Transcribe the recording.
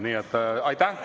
Nii et aitäh!